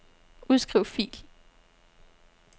Udskriv fil.